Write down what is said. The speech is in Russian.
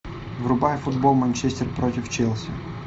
врубай футбол манчестер против челси